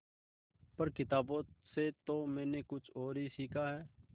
पर किताबों से तो मैंने कुछ और ही सीखा है